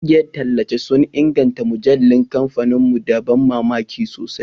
Ƙungiyar tallace sun inganta mujallun kamfanin mu da ban mamaki sosai